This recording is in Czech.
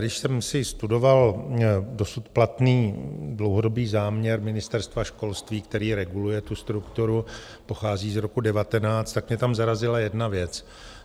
Když jsem si studoval dosud platný dlouhodobý záměr Ministerstva školství, který reguluje tu strukturu, pochází z roku 2019, tak mě tam zarazila jedna věc.